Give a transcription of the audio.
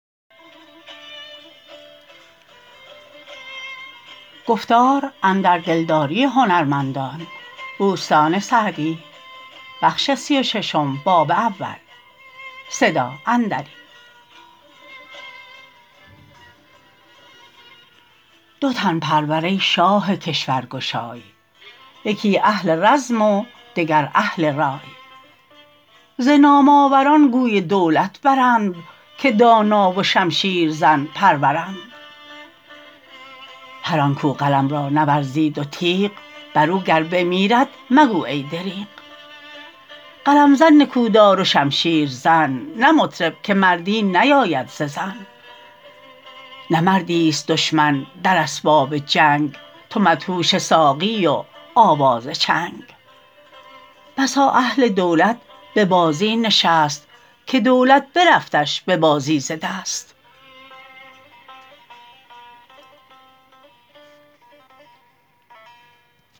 دو تن پرور ای شاه کشور گشای یکی اهل رزم و دگر اهل رای ز نام آوران گوی دولت برند که دانا و شمشیر زن پرورند هر آن کاو قلم را نورزید و تیغ بر او گر بمیرد مگو ای دریغ قلم زن نکودار و شمشیر زن نه مطرب که مردی نیاید ز زن نه مردی است دشمن در اسباب جنگ تو مدهوش ساقی و آواز چنگ بسا اهل دولت به بازی نشست که دولت برفتش به بازی ز دست